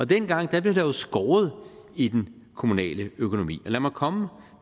dengang blev der skåret i den kommunale økonomi og lad mig komme